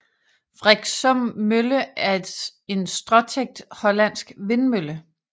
Vriksum Mølle er en stråtækt hollandsk vindmølle